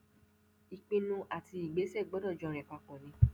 ìpinnu àti ìgbésẹ gbọdọ jọ rìn papọ ni